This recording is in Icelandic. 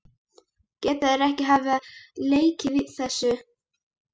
Geta þeir ekki hafa lekið þessu?